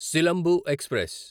Silambu express